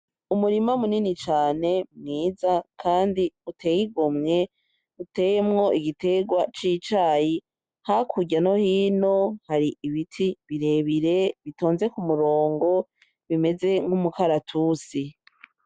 Umurima munini cane mwiza kandi uteye igomwe uteyemwo igiterwa cicayi hakurya no hino hari ibiti birebire bitonze kumurongo bimeze nk' umukaratusi.